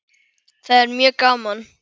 Það er mjög gaman.